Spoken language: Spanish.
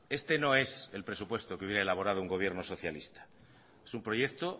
este no es el presupuesto que hubiera elaborado un gobierno socialista es un proyecto